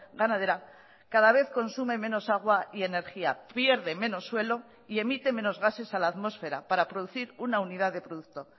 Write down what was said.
ganadera cada vez consume menos agua y energía pierde menos suelo y emite menos gases a la atmósfera para producir una unidad de producto